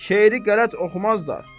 Şeiri qələt oxumazlar.